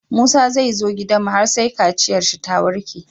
Musa zai zo gidanmu har sai kaciyar shi ta warke